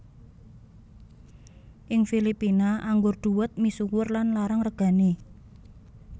Ing Filipina anggur dhuwet misuwur lan larang regané